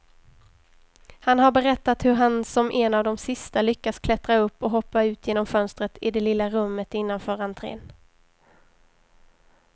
Han har berättat hur han som en av de sista lyckas klättra upp och hoppa ut genom fönstret i det lilla rummet innanför entrén.